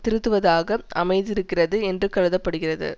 திருத்துவதாக அமைந்திருக்கிறது என்று கருத படுகிறது